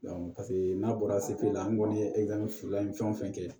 paseke n'a bɔra sekile la an kɔni ye fila fɛn o fɛn kɛ